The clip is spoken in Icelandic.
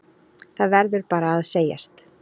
Það verður bara að segjast.